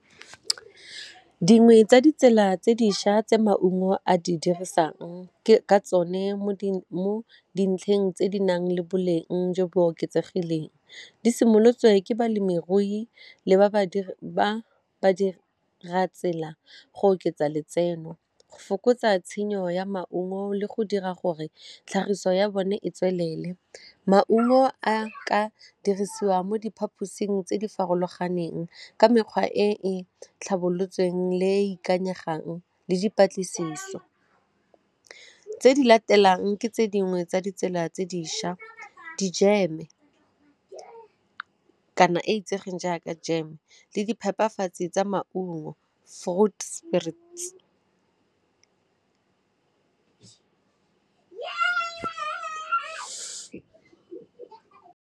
Dingwe tsa ditsela tse dišwa tse maungo a di dirisang ke ka tsone mo dintlheng tse di nang le boleng jo bo oketsegileng, di simolotswe ke balemirui le badiri ba ra tsela go oketsa letseno fokotsa tshenyo ya maungo le go dira gore tlhagiso ya bone e tswelele maungo a ka dirisiwa mo diphaposing tse di farologaneng ka mekgwa e e tlhabolotsweng le e ikanyegang le dipatlisiso. Tse di latelang ke tse dingwe tsa ditsela tse dišwa dijeme kana e itsegeng jaaka jeme le di phepafatsi tsa maungo .